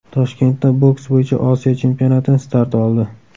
Toshkentda boks bo‘yicha Osiyo chempionati start oldi.